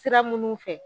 Sira minnu fɛ